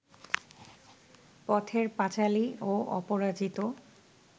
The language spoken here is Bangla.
পথের পাঁচালী ও অপরাজিত